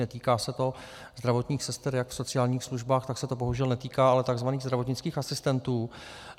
Netýká se to zdravotních sester jak v sociálních službách, tak se to bohužel netýká ale tzv. zdravotnických asistentů.